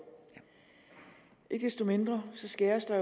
ikke desto mindre skæres der